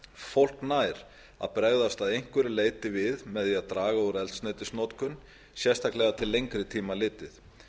fólk nær að bregðast að einhverju leyti við með því að draga úr eldsneytisnotkun sérstaklega til lengri tíma litið